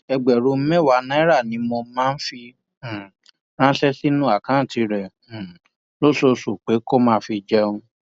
ẹgbẹrún mẹwàá náírà ni mo máa ń fi um ránṣẹ sínú àkáùntì rẹ um lóṣooṣù pé kó máa fi jẹun